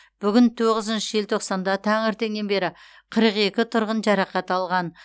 бүгін тоғызыншы желтоқсанда таңертеңнен бері қырық екі тұрғын жарақат алған